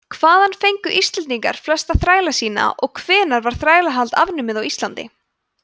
hvaðan fengu íslendingar flesta þræla sína og hvenær var þrælahald afnumið á íslandi